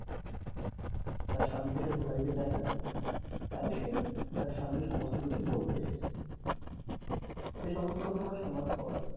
তার স্বামীকে সে ধোঁকা দিতে চায়না তাই সে তার স্বামীকে সমস্ত কিছু বলতে এসেছে সে সমস্ত ঘটনা শুনার পর,